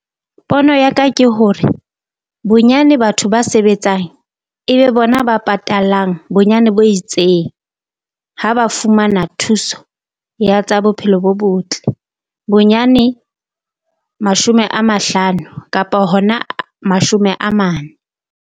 Pono ya ka ke hore bonyane batho ba sebetsang e be bona ba patalang bonyane bo itseng ha ba fumana thuso ya tsa bophelo bo botle. Bonyane mashome a mahlano kapa hona mashome a mane.